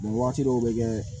waati dɔw be kɛ